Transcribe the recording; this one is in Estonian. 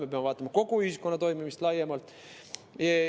Me peame vaatama kogu ühiskonna toimimist laiemalt.